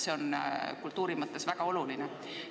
See on kultuuri mõttes väga oluline.